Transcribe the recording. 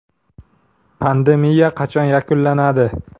Pandemiya qachon yakunlanadi?